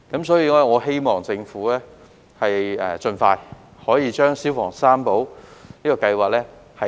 所以，我希望政府盡快推動"消防三寶"計劃。